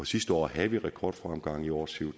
sidste år havde vi rekordfremgang i år ser